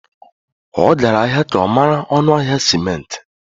Ọ gara ahịa ka ọ mara ọnụ ahịa simenti.